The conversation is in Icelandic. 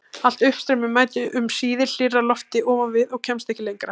Allt uppstreymi mætir um síðir hlýrra lofti ofan við og kemst ekki lengra.